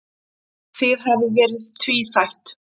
Það hafi verið tvíþætt.